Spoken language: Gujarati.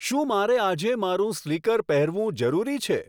શું મારે આજે મારું સ્લીકર પહેરવું જરૂરી છે